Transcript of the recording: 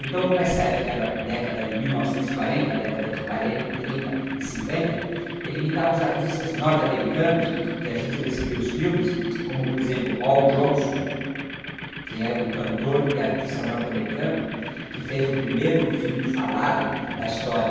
Então, como essa época era década de mil novecentos e quarenta, década de quarenta, trinta e cinquenta, ele imitava os artistas norte-americanos que a gente recebia os filmes, como, por exemplo, Al Jolson, que é um cantor e artista norte-americano, que fez o primeiro filme falado da história.